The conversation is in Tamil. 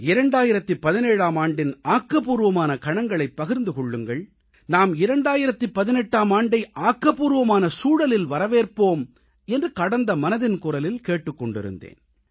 2017ஆம் ஆண்டின் ஆக்கப்பூர்வமான கணங்களை பகிர்ந்து கொள்ளுங்கள் நாம் 2018ஆம் ஆண்டை ஆக்கப்பூர்வமான சூழலில் வரவேற்போம் என்று கடந்த மனதின் குரலில் கேட்டுக் கொண்டிருந்தேன்